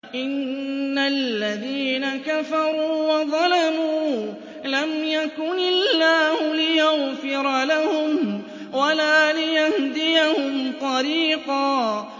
إِنَّ الَّذِينَ كَفَرُوا وَظَلَمُوا لَمْ يَكُنِ اللَّهُ لِيَغْفِرَ لَهُمْ وَلَا لِيَهْدِيَهُمْ طَرِيقًا